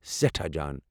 سٮ۪ٹھاہ جان!